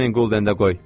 4000 qulden də qoy.